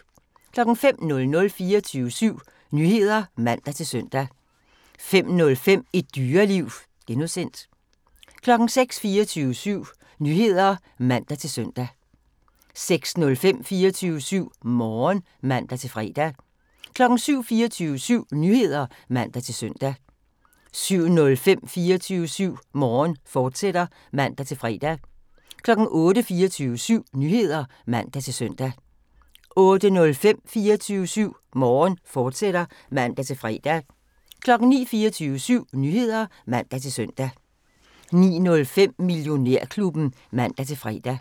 05:00: 24syv Nyheder (man-søn) 05:05: Et Dyreliv (G) 06:00: 24syv Nyheder (man-søn) 06:05: 24syv Morgen (man-fre) 07:00: 24syv Nyheder (man-søn) 07:05: 24syv Morgen, fortsat (man-fre) 08:00: 24syv Nyheder (man-søn) 08:05: 24syv Morgen, fortsat (man-fre) 09:00: 24syv Nyheder (man-søn) 09:05: Millionærklubben (man-fre)